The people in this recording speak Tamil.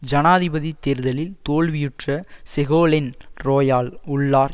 ஜனாதிபதி தேர்தலில் தோல்வியுற்ற செகோலென் ரோயால் உள்ளார்